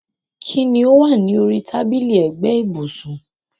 Kín ni ó wà ní orí tábìlì ẹ̀gbẹ́ ibùsùn?